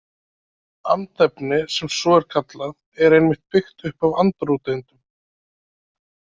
Andefni sem svo er kallað er einmitt byggt upp af andróteindum.